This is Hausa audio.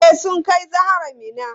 E, sun kai Zahra Minna.